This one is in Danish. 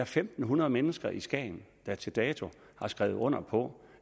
fem hundrede mennesker i skagen der til dato har skrevet under på